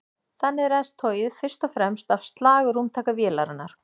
Þannig ræðst togið fyrst og fremst af slagrúmtaki vélarinnar.